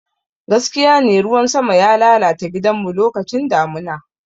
Dagaskene, ruwan sama ya lalata gidanmu lokacin damuna.